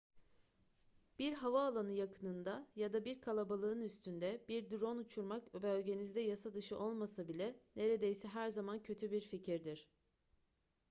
bir havaalanı yakınında ya da bir kalabalığın üstünde bir drone uçurmak bölgenizde yasadışı olmasa bile neredeyse her zaman kötü bir fikirdir